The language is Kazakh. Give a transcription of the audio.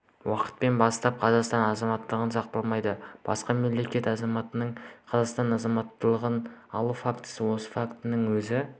уақыттан бастап қазақстан азаматтығы сақталмайды басқа мемлекет азаматының қазақстан азаматтығын алу фактісі осы фактінің өзі